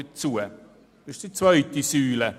Dabei handelt es sich um die zweite Säule.